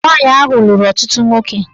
Nwaanyị ahụ lụrụ ọtụtụ nwoke